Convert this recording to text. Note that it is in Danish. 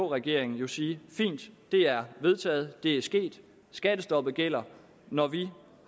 regering sige fint det er vedtaget det er sket skattestoppet gælder når vi